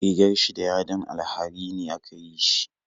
Rigar shi da yadin alharini aka yi shi